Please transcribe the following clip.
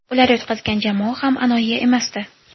Ular yutqazgan jamoa ham anoyi emasdi.